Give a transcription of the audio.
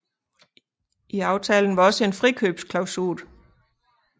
I aftalen var også en frikøbsklasul